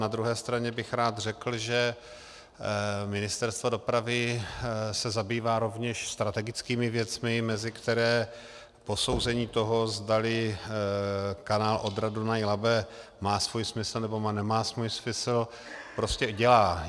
Na druhé straně bych rád řekl, že Ministerstvo dopravy se zabývá rovněž strategickými věcmi, mezi které posouzení toho, zdali kanál Odra-Dunaj-Labe má svůj smysl, nebo nemá svůj smysl, prostě dělá.